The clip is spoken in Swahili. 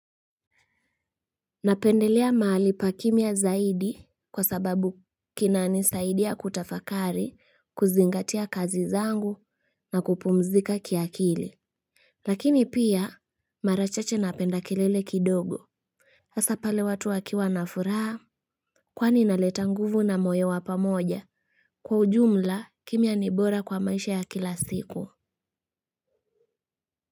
Napendelea mahali pa kimya zaidi kwa sababu kinanisaidia kutafakari kuzingatia kazi zangu na kupumzika kiakili lakini pia mara chache napenda kelele kidogo. Asa pale watu wakiwa na furaha kwani inaleta nguvu na moyo wa pamoja kwa ujumla kimya ni bora kwa maisha ya kila siku.